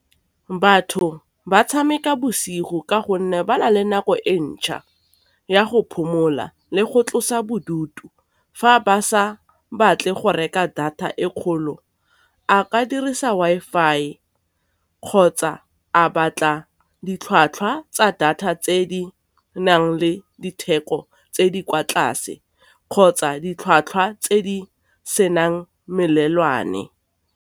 Batho ba tshameka bosigo ka gonne ba na le nako e ntšha ya go phomola le go tlosa bodutu. Fa ba sa batle go reka data e kgolo, a ka dirisa Wi-Fi kgotsa a batla ditlhwatlhwa tsa data tse di nang le ditheko tse di kwa tlase, kgotsa ditlhwatlhwa tse di senang melelwane.